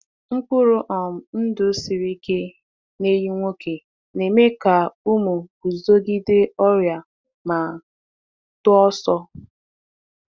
Mkpụrụ um ndụ siri ike n’ehi nwoke na-eme ka ụmụ guzogide ọrịa ma too ọsọ.